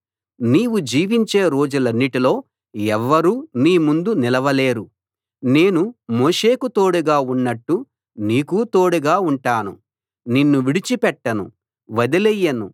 నీవు జీవించే రోజులన్నిటిలో ఎవ్వరూ నీ ముందు నిలవలేరు నేను మోషేకు తోడుగా ఉన్నట్టు నీకూ తోడుగా ఉంటాను నిన్ను విడిచి పెట్టను వదిలెయ్యను